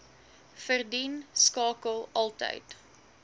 verdien skakel altyd